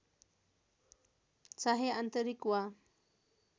चाहे आन्तरिक वा